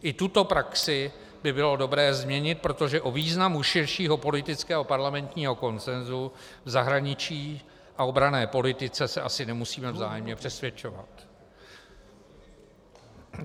I tuto praxi by bylo dobré změnit, protože o významu širšího politického parlamentního konsensu v zahraničí a obranné politice se asi nemusíme vzájemně přesvědčovat.